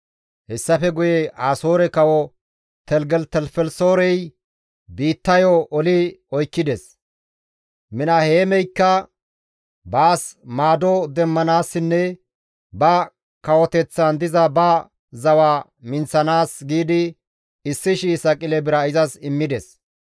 Hessafe guye Asoore kawo Teligelitelifelisoorey biittayo oli oykkides; Minaheemikka baas maado demmanaasinne ba kawoteththan diza ba zawa minththanaas giidi 1,000 saqile bira izas immides.